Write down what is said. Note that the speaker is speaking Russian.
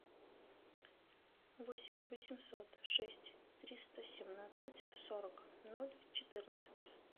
восемь восемьсот шесть триста семнадцать сорок ноль четырнадцать